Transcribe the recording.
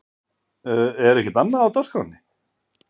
Er ekkert annað á dagskránni?